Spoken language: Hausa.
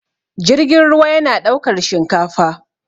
jirgin ruwa yana ɗaukar shinkafa